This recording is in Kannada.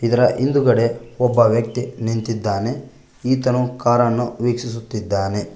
ಇದರ ಹಿಂದುಗಡೆ ಒಬ್ಬ ವ್ಯಕ್ತಿ ನಿಂತಿದ್ದಾನೆ ಈತನು ಕಾರನ್ನು ವೀಕ್ಷಿಸುತ್ತಿದ್ದಾನೆ.